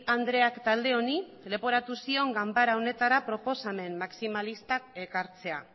andreak talde honi leporatu zion ganbara honetara proposamen maximalistak ekartzea